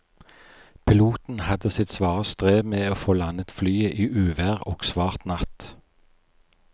Piloten hadde sitt svare strev med å få landet flyet i uvær og svart natt.